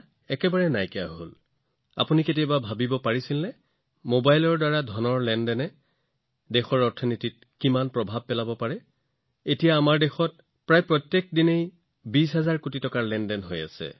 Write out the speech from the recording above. সকলো পৰিশোধ মোবাইলৰ পৰাই কৰা হয় কিন্তু আপুনি কেতিয়াবা ভাবিছেনে যে আপোনালোকৰ এই সৰু অনলাইন পৰিশোধৰ সৈতে দেশত কিমান ডাঙৰ ডিজিটেল অৰ্থনীতিৰ সৃষ্টি হৈছে বৰ্তমান আমাৰ দেশত প্ৰতিদিনে প্ৰায় ২০০০০ কোটি টকাৰ লেনদেন হৈ আছে